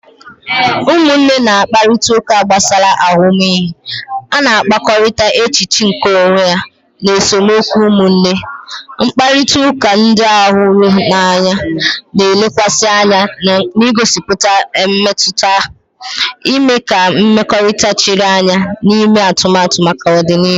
Ụmụnne na-akparịta ụka gbasara ahụmịhe ha na-akpakọrịta, echiche nke onwe, na esemokwu ụmụnne. Mkparịta ụka ndị hụrụ n'anya na-elekwasị anya n'igosipụta mmetụta, ime ka mmekọrịta chiri anya na ime atụmatụ maka ọdịnihu